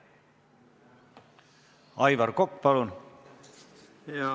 Aivar Kokk, palun!